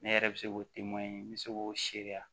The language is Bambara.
Ne yɛrɛ bɛ se k'o n bɛ se k'o sariya